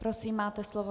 Prosím, máte slovo.